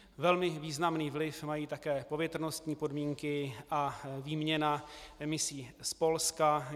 Velmi významný vliv mají také povětrnostní podmínky a výměna emisí z Polska.